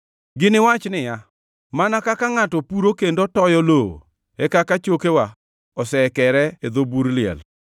Giniwach niya, “Mana kaka ngʼato puro kendo toyo lowo, e kaka chokewa osekere e dho bur liel.”